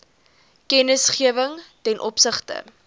kennisgewing ten opsigte